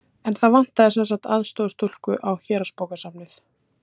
En það vantaði sem sagt aðstoðarstúlku á Héraðsbókasafnið.